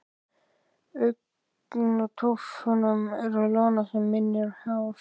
Í augntóftunum er loðna sem minnir á hár.